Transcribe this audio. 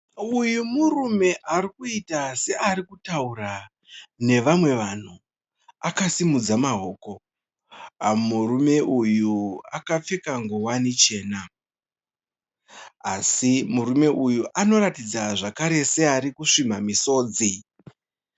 Uyu murume ari kuiita seari kutaura nevamwe vanhu akasimudza maoko, murume uyu kakapfeka ngowani chena, asi murume uyu anotaridza zvakare seari kusvimha misodzi.